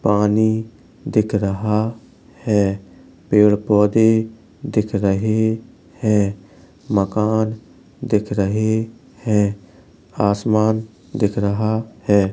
पानी दिख रहा है। पेड़-पोधे दिख रहे हैं। मकान दिख रहे है। आसमान दिख रहा है।